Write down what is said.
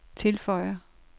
tilføjer